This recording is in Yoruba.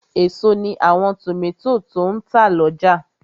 Èso ní àwọn tòmátò tó n tà lọ́jà